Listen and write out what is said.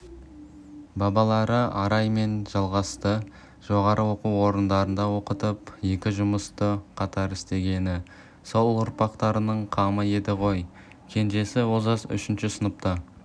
балалары арай мен жалғасты жоғары оқу орындарында оқытып екі жұмысты қатар істегені сол ұрпақтарының қамы еді ғой кенжесі олжас үшінші сыныпта